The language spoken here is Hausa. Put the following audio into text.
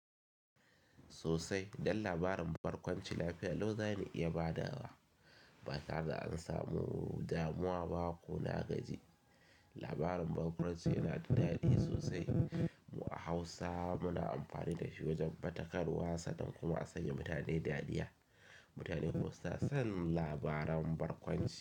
Sosai don labarin barkwanci lafiya Allah zani iya badawa. Batare da an samu damuwa ba ko na gaji. Labarin barkwanci yana da dadi sosai. Mu a Hausa muna amfani da shi wajen faɗakarwa sanan kuma a sanya mutane dariya. Mutanen Hausa sun san labaran barkwanci.